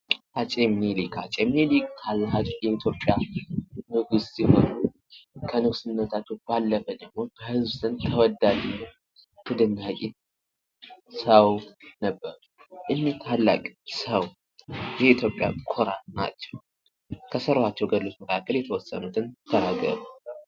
አፄ ምኒልክ ፡-አፄ ምኒልክ የኢትዮጵያ ንጉስ ሲሆኑ ከንግስናቸው ባለፈ ደግሞ ከህዝብ ዘንድ ተወዳጅ፣ ተደናቂ ሰዉ ነበሩ። ይህ ታላቅ ሰው የኢትዮጵያ ኩራት ናቸው። ከሰሯቸው ገድሎች መካከል የተወሰኑትን ተናገሩ?